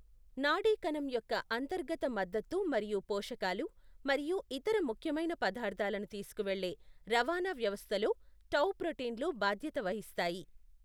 నాడీ కణం యొక్క అంతర్గత మద్దతు మరియు పోషకాలు మరియు ఇతర ముఖ్యమైన పదార్థాలను తీసుకువెళ్ళే రవాణా వ్యవస్థలో టౌ ప్రోటీన్లు బాధ్యత వహిస్తాయి.